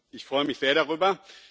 Ich freue mich sehr darüber.